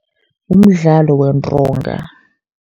Umdlalo wentonga.